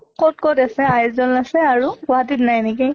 কʼত কʼত আছে আইযʼল আছে আৰু গুৱাহাটীত নাই নেকি?